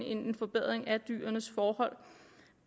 en forbedring af dyrenes forhold